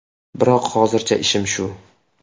Biroq hozircha ishim shu.